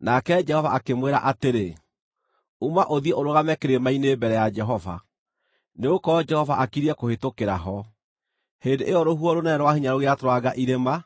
Nake Jehova akĩmwĩra atĩrĩ, “Uma ũthiĩ ũrũgame kĩrĩma-inĩ mbere ya Jehova, nĩgũkorwo Jehova akiriĩ kũhĩtũkĩra ho.” Hĩndĩ ĩyo rũhuho rũnene rwa hinya rũgĩatũranga irĩma